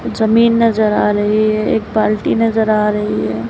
जमीन नजर आ रही है एक बाल्टी नजर आ रही है।